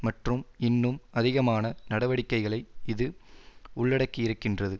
மற்றும் இன்னும் அதிகமான நடவடிக்கைகளை இது உள்ளடக்கியிருக்கின்றது